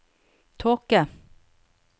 tåke